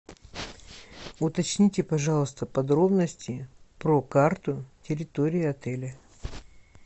уточните пожалуйста подробности про карту территории отеля